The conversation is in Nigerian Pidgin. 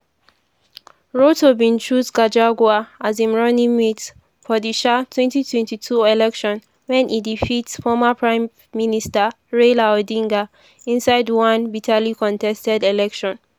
ruto bin choose gachagua as im running-mate for di um 2022 election wen e defeat former prime minister raila odinga inside one bitterly contested election.